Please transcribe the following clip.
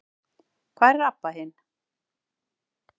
Hvar er Abba hin?